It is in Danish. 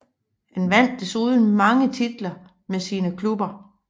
Han vandt desuden mange titler med sine klubber